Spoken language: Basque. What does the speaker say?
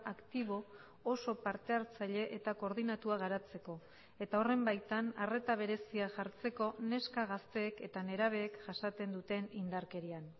aktibo oso partehartzaile eta koordinatua garatzeko eta horren baitan arreta berezia jartzeko neska gazteek eta nerabeek jasaten duten indarkerian